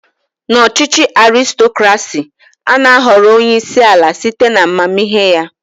N'ọchịchị Arịstokrasị, ana ahọrọ onyeisi ala site na amamihe ya.